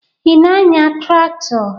Ị na-anya traktọ?